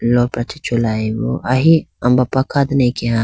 lopra chi chulayibo ahi ambapa kha dane akeya.